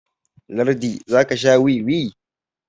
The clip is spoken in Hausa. lardi za ka Sha wiwi?